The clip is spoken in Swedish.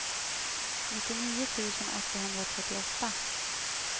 nittionio tusen åttahundratrettioåtta